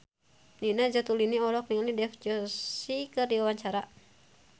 Nina Zatulini olohok ningali Dev Joshi keur diwawancara